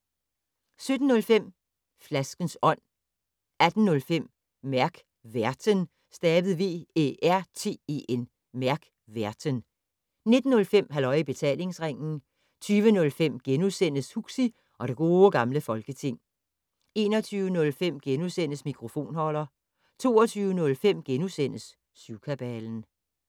17:05: Flaskens Ånd 18:05: Mærk Værten 19:05: Halløj i Betalingsringen 20:05: Huxi og det Gode Gamle Folketing * 21:05: Mikrofonholder * 22:05: Syvkabalen *